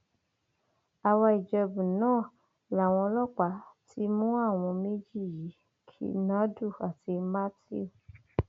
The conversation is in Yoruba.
àwaìjẹbù náà làwọn ọlọpàá ti mú àwọn méjì yìí kinadu àti matthew